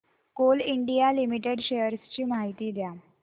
Coal India Limited shares ची माहिती द्या